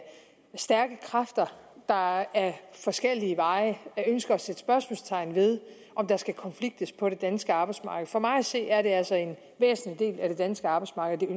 stærke kræfter der ad forskellige veje ønsker at sætte spørgsmålstegn ved om der skal konfliktes på det danske arbejdsmarked for mig at se er det altså en væsentlig del af det danske arbejdsmarked og